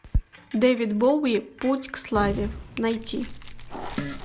дэвид боуи путь к славе найти